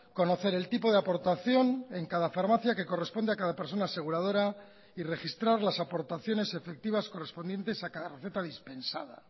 conocer el tipo de aportación en cada farmacia que corresponde a cada persona aseguradora y registrar las aportaciones efectivas correspondientes a cada receta dispensada